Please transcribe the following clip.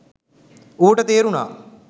ඌට තේරුණා